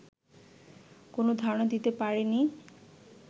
কোন ধারণা দিতে পারে নি